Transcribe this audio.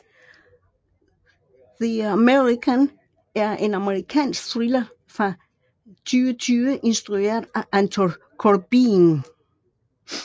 The American er en amerikansk thriller fra 2010 instrueret af Anton Corbijn